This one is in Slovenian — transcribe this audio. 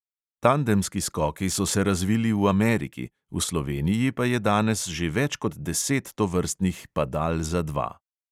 Tandemski skoki so se razvili v ameriki, v sloveniji pa je danes že več kot deset tovrstnih padal za dva.